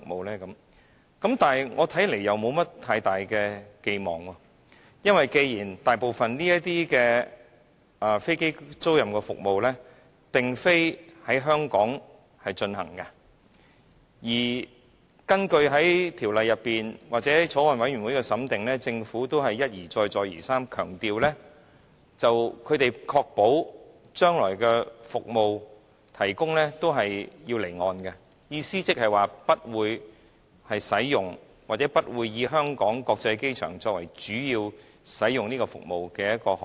在我看來，我也沒有太大的期望，因為大部分的飛機租賃服務並非在香港進行；而在法案委員會審議《條例草案》期間，政府亦一而再，再而三地強調，他們可確保將來服務提供時是會在離岸進行的，意即不會使用，或不會以香港國際機場作為主要使用該服務的航點。